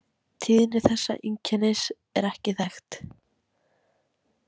Tíðni þessa einkennis er ekki þekkt.